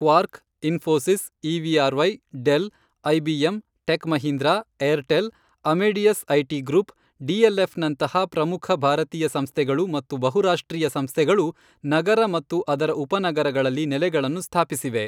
Quark, Infosys, EVRY, del, IBM, ಟೆಕ್ಮಹೀಂದ್ರಾ, Airtel, Amadeus IT group, ಡಿಎಲ್ಎಫ್ನಂತಹ ಪ್ರಮುಖ ಭಾರತೀಯ ಸಂಸ್ಥೆಗಳು ಮತ್ತು ಬಹುರಾಷ್ಟ್ರೀಯ ಸಂಸ್ಥೆಗಳು ನಗರ ಮತ್ತು ಅದರ ಉಪನಗರಗಳಲ್ಲಿ ನೆಲೆಗಳನ್ನು ಸ್ಥಾಪಿಸಿವೆ.